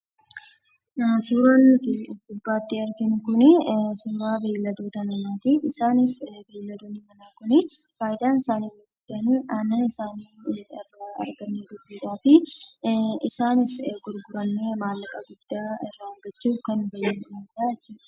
Suuraan nuti gubbaatti arginu kunii, suuraa beelladoota namaati. Isaanis beeladoonni manaa kun faayidaan isaanii inni guddaan aannaan isaani gaalii akka argannu gochuudhaaf. Isaanis gurguraamee maallaqa guddaa irraa argachuuf kan fayyadamnu ta'a jechuudha.